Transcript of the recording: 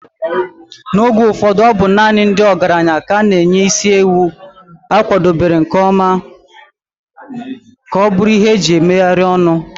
N'oge ụfọdụ, ọ bụ naanị ndị ọgaranya ka a na-enye isi ewu a kwadebere nke ọma ka ọ bụrụ ihe iji megharịa ọnụ